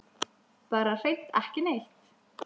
Bara hreint ekki neitt.